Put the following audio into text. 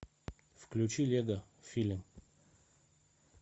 включи лего фильм